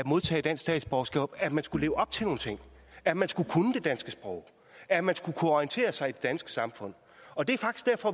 modtage dansk statsborgerskab at man skulle leve op til nogle ting at man skulle kunne det danske sprog at man skulle kunne orientere sig i det danske samfund